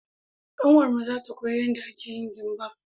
Ƙanwar mu za ta koya yanda ake yin gimbaf